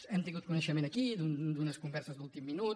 hem tingut coneixement aquí d’unes converses d’últim minut